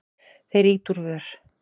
Þeir ýta úr vör.